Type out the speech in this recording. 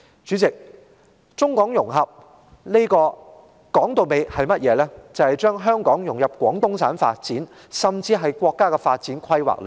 主席，中港融合的主旨，就在於把香港融入廣東省、甚至是國家的發展規劃之中。